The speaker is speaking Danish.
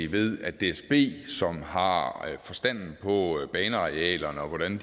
ved at dsb som har forstand på banearealerne og hvordan